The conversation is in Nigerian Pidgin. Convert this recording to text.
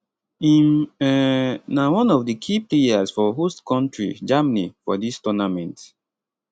im um na one of di key players for host kontri germany for dis tournament